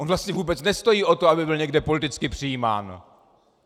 On vlastně vůbec nestojí o to, aby byl někde politicky přijímán.